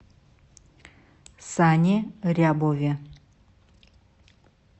сане рябове